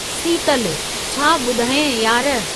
सीतलुः छा बु॒धायांइ यार।